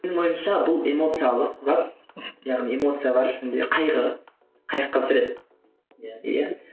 менің ойымша бұл эмоциялық зат яғни эмоция бар ішінде қайғы қайғы қасірет иә